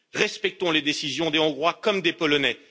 Respectons les décisions des Hongrois comme des Polonais.